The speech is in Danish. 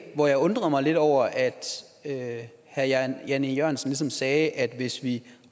hvor jeg undrede mig lidt over at at herre jan jan e jørgensen ligesom sagde at hvis vi